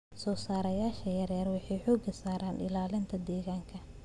Soosaarayaasha yaryar waxay xooga saaraan ilaalinta deegaanka.